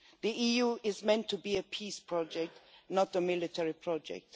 The EU is meant to be a peace project, not a military project.